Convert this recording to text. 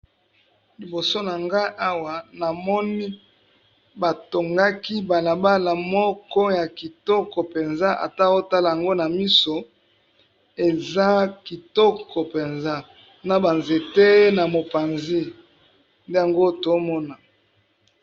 Liboso na ngai awa na moni batongaki balabala moko ya kitoko penza ata otala yango na miso eza kitoko penza na ba nzete na mopanzi nde yango tozomona.